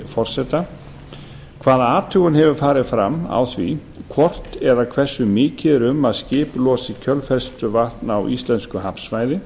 forseta afrþ sex hundruð sjötíu og sjö fyrstu hvaða athugun hefur farið fram á því hvort eða hversu mikið er um að skip losi kjölfestuvatn á íslensku hafsvæði